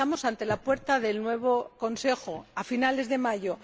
Y estamos ante la puerta del nuevo Consejo a finales de mayo.